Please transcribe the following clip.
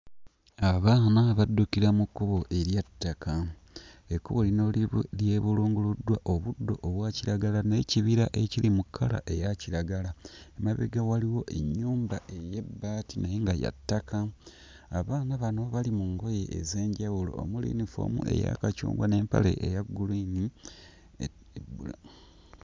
Abaana baddukira mu kkubo erya ttaka. Ekkubo lino lyebu... lyebulunguluddwa obuddo obwa kiragala n'ekibira ekiri mu kkala eya kiragala. Emabega waliwo ennyumba ey'ebbaati naye nga ya ttaka. Abaana bano bali mu ngoye ez'enjawulo omuli yunifoomu eya kacungwa n'empale eya gguliini ne ne bbula....